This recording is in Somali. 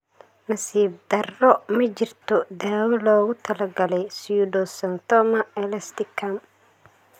Nasiib darro, ma jirto daawo loogu talagalay pseudoxanthoma elasticum.